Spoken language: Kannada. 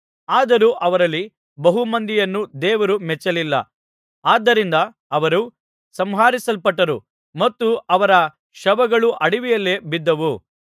ಆದರೂ ಅವರಲ್ಲಿ ಬಹು ಮಂದಿಯನ್ನು ದೇವರು ಮೆಚ್ಚಲಿಲ್ಲ ಆದ್ದರಿಂದ ಅವರು ಸಂಹರಿಸಲ್ಪಟ್ಟರು ಮತ್ತು ಅವರ ಶವಗಳು ಅಡವಿಯಲ್ಲೆಲ್ಲ ಬಿದ್ದವು